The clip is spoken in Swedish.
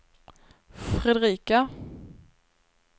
Fredrika